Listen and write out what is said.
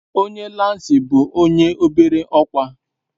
Onye lansị bu onye obere okwa